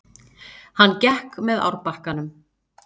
Hann gekk með árbakkanum.